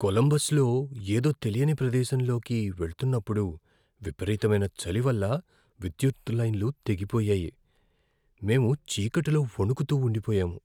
కొలంబస్లో ఏదో తెలియని ప్రదేశంలోకి వెళ్తున్నప్పుడు విపరీతమైన చలి వల్ల విద్యుత్ లైన్లు తెగిపోయాయి, మేము చీకటిలో వణుకుతూ ఉండిపోయాము.